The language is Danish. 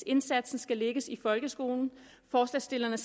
indsatsen skal lægges i folkeskolen forslagsstillerne